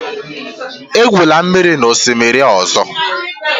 Egwula mmiri n'osimiri ọzọ!